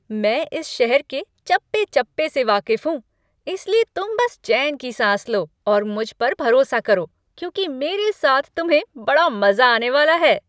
मैं इस शहर के चप्पे चप्पे से वाकिफ़ हूँ, इसलिए तुम बस चैन की सांस लो और मुझे पर भरोसा करो, क्योंकि मेरे साथ तुम्हें बड़ा मज़ा आने वाला है।